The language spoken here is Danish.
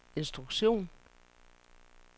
instruktion